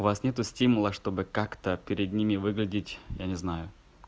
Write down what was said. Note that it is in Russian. вас нет стимула чтобы как-то перед ними выглядеть я не знаю